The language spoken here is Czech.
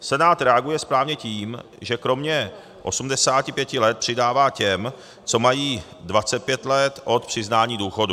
Senát reaguje správně tím, že kromě 85 let přidává těm, co mají 25 let od přiznání důchodu.